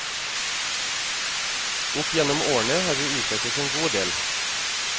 Opp gjennom årene har vi utrettet en god del.